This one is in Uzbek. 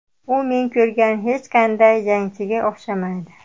U men ko‘rgan hech qanday jangchiga o‘xshamaydi.